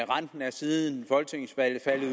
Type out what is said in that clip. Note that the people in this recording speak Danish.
renten er siden folketingsvalget faldet